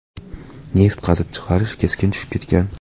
Neft qazib chiqarish keskin tushib ketgan.